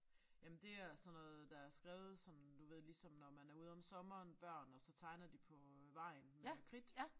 Jamen det er sådan noget der er skrevet som du ved ligesom når man er ude om sommeren børn og så tegner de på vejen med kridt